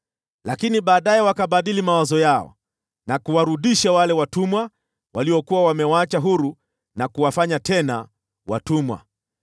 Lakini baadaye wakabadili mawazo yao, na kuwarudisha wale watumwa waliokuwa wamewaacha huru, wakawafanya tena watumwa.